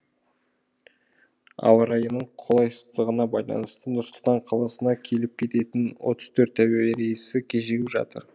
ауа райының қолайсыздығына байланысты нұр сұлтан қаласына келіп кететін отыз төрт әуе рейсі кешігіп жатыр